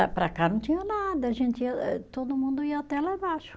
Para cá não tinha nada, a gente ia eh, todo mundo ia até lá embaixo.